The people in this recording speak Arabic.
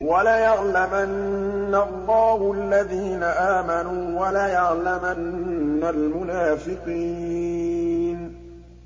وَلَيَعْلَمَنَّ اللَّهُ الَّذِينَ آمَنُوا وَلَيَعْلَمَنَّ الْمُنَافِقِينَ